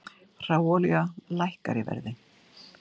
Hráolía lækkar í verði